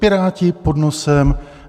Piráti pod nosem.